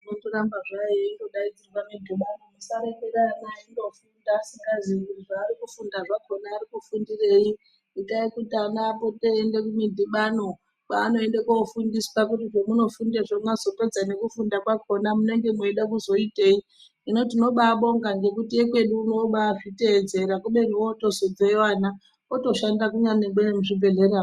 Inoramba zvayo eindodaidzirwa midhibano musarekera ana eindofunda asingaziyi kuti zvaarikufunda zvakona arikufundirei itai kuti ana apote eiende kumidhibano kwaanoende kofundiswa kuti zvamunofundezvo mwazopedze nekufunda kwakona munonga mweide kuzoitei hino tinobaabonga ngekuti ekwedu uno obaazviteedzera kubeni ozotobveyo ana otoshanda kunyangwe nemuzvibhehleya mwo.